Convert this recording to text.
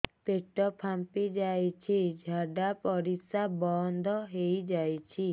ପେଟ ଫାମ୍ପି ଯାଇଛି ଝାଡ଼ା ପରିସ୍ରା ବନ୍ଦ ହେଇଯାଇଛି